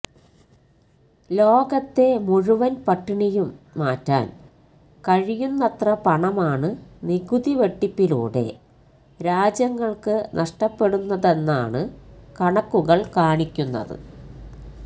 ലോകത്തെ മുഴുവന് പട്ടിണിയും മാറ്റാന് കഴിയുന്നത്ര പണമാണ് നികുതി വെട്ടിപ്പിലൂടെ രാജ്യങ്ങള്ക്ക് നഷ്ടപ്പെടുന്നതെന്നാണ് കണക്കുകള് കാണിക്കുന്നത്